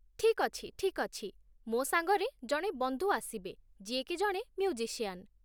ଠିକ୍ ଅଛି, ଠିକ୍ ଅଛି । ମୋ ସାଙ୍ଗରେ ଜଣେ ବନ୍ଧୁ ଆସିବେ ଯିଏ କି ଜଣେ ମ୍ୟୁଜିସିଆନ୍ ।